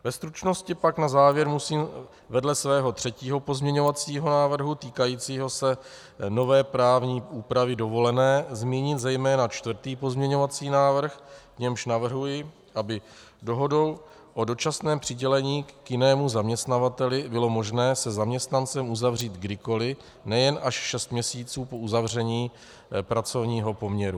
Ve stručnosti pak na závěr musím vedle svého třetího pozměňovacího návrhu týkajícího se nové právní úpravy dovolené zmínit zejména čtvrtý pozměňovací návrh, v němž navrhuji, aby dohodu o dočasném přidělení k jinému zaměstnavateli bylo možné se zaměstnancem uzavřít kdykoliv, nejen až šest měsíců po uzavření pracovního poměru.